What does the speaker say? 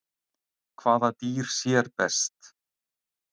Hvaða dýr sér best?